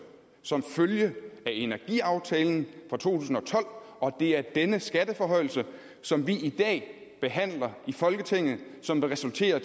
som følge af energiaftalen fra to tusind og tolv og det er denne skatteforhøjelse som vi i dag behandler i folketinget som vil resultere